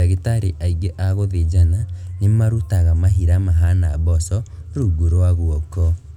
Ndagĩtarĩ aingĩ a gũthĩnjana nĩmarutaga mahira mahana mboco rungu rwa guoko